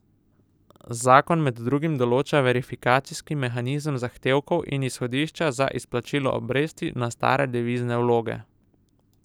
Zakon med drugim določa verifikacijski mehanizem zahtevkov in izhodišča za izplačilo obresti na stare devizne vloge.